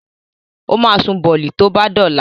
O ma sun bọ̀lì tó bá dọ̀la